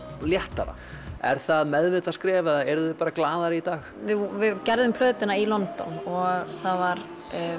léttara er það meðvitað skref eða eruð þið bara glaðari í dag við gerðum plötuna í London og það var